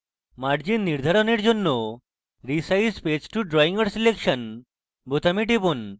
margins নির্ধারণের পর resize page to drawing or selection বোতামে টিপুন